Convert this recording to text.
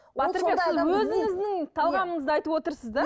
талғамыңызды айтып отырсыз да